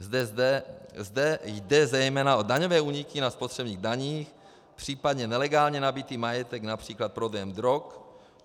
Zde jde zejména o daňové úniky na spotřebních daních, případně nelegálně nabytý majetek, například prodejem drog.